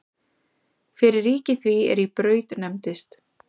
Fyrir ríki því er í Braut nefndist.